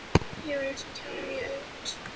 Ég var eins og kjáni í augum hans.